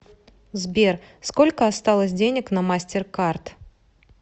сбер сколько осталось денег на мастеркард